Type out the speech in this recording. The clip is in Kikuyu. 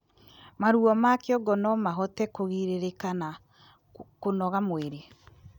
Maruo ma kĩongo nomahote kugiririka na kũnogora mwĩrĩ